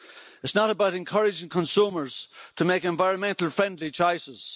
It's not about encouraging consumers to make environmentally friendly choices